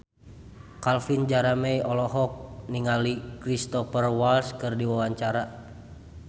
Calvin Jeremy olohok ningali Cristhoper Waltz keur diwawancara